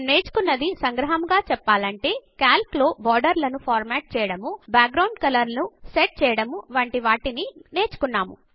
మనము నేర్చుకున్నది సంగ్రహముగా చెప్పలంటే కాల్క్ లో బోర్డర్ లను ఫార్మాట్ చేయడము బాక్ గ్రౌండ్ కలర్ లను సెట్ చేయడము వంటివి నేర్చుకున్నాము